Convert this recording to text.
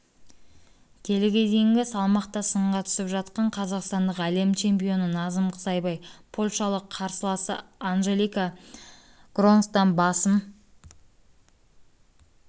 келіге дейінгі салмақта сынға түсіп жатқан қазақстандық әлем чемпионы назым қызайбай польшалық қарсыласы анджелика гронсктан басым